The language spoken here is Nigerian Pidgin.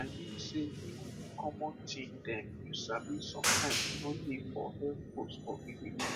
i mean sey even the common thing dem you sabi sometimes no dey for health post for village